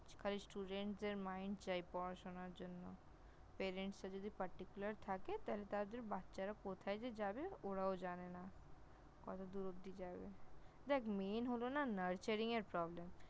খালি Student দের Mind চাই পড়াশোনার জন্য, Parent রা যদি Particular থাকে তাহলে তাদের বাচ্চারা কোথায় যে যাবে ওরাও জানে না । কতদূর অবধি যাবে! দেখ Main হল না Nurturing এর Problem